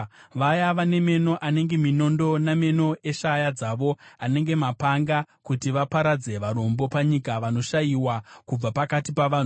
vaya vane meno anenge minondo nameno eshaya dzavo anenge mapanga kuti vaparadze varombo panyika, navanoshayiwa kubva pakati pavanhu.